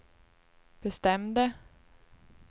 bestämde